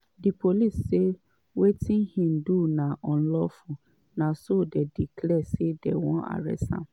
di police say wetin im do na unlawful na so dey declare say dey wan arrest am.